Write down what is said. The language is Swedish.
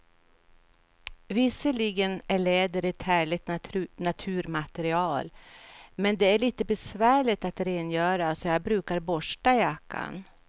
Visserligen är läder ett härligt naturmaterial, men det är lite besvärligt att rengöra, så jag brukar borsta jackan.